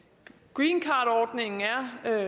greencardordningen er